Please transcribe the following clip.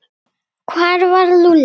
Hvar var Lúlli?